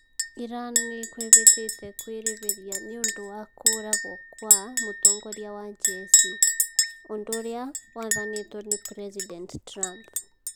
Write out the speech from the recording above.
Iran nĩ ĩkwĩhĩtĩte kwĩrĩhĩria nĩ ũndũ wa kũũragwo kwa mũtongoria wa njeshi, ũndũ ũrĩa wathanĩtwo nĩ President Trump.